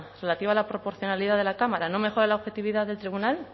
relativa a la proporcionalidad de la cámara no mejora la objetividad del tribunal